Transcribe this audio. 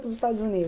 para os Estados